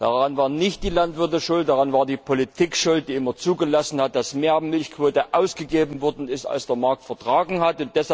Daran waren nicht die Landwirte schuld, daran war die Politik schuld, die immer zugelassen hat, dass mehr Milchquote ausgegeben worden ist als der Markt vertragen hat.